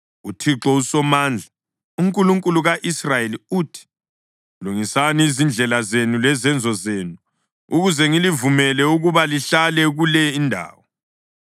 UThixo uSomandla, uNkulunkulu ka-Israyeli uthi: Lungisani izindlela zenu lezenzo zenu, ukuze ngilivumele ukuba lihlale kule indawo.